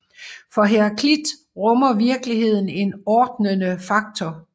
For Heraklit rummer virkeligheden en ordnende faktor